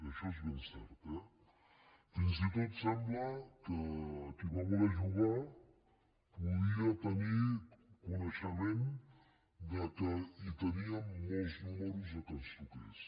això és ben cert eh fins i tot sembla que qui va voler jugar podia tenir coneixement que teníem molts números perquè ens toqués